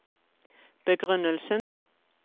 begrunnelsen